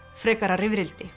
frekara rifrildi